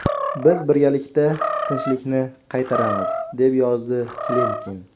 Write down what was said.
Biz birgalikda tinchlikni qaytaramiz”, deb yozdi Klimkin.